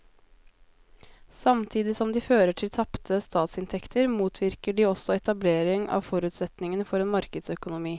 Samtidig som de fører til tapte statsinntekter motvirker de også etablering av forutsetningene for en markedsøkonomi.